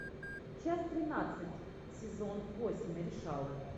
часть тринадцать сезон восемь решала